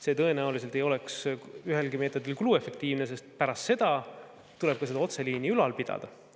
See tõenäoliselt ei oleks ühelgi meetodil kuluefektiivne, sest pärast seda tuleb otseliini ka ülal pidada.